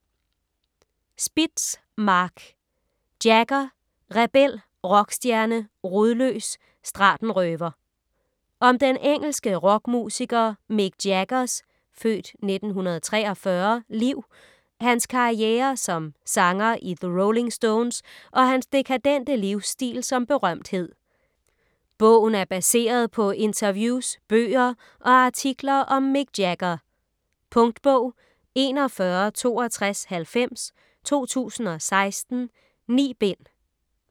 Spitz, Marc: Jagger - rebel, rockstjerne, rodløs, stratenrøver Om den engelske rockmusiker Mick Jaggers (f. 1943) liv, hans karriere som sanger i The Rolling Stones og hans dekadente livsstil som berømthed. Bogen er baseret på interviews, bøger og artikler om Mick Jagger. Punktbog 416290 2016. 9 bind.